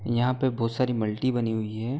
यहाँ पर बहुत सारी मल्टी बनी हुई है।